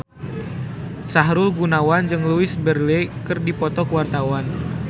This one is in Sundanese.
Sahrul Gunawan jeung Louise Brealey keur dipoto ku wartawan